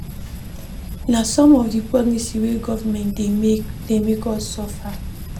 Na some of di policy wey government dey make dey make us suffer.